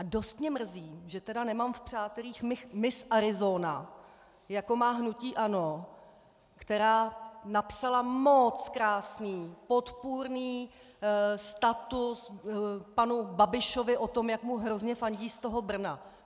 A dost mě mrzí, že tedy nemám v přátelích Miss Arizona, jako má hnutí ANO, která napsala moooc krásný podpůrný status panu Babišovi o tom, jak mu hrozně fandí z toho Brna.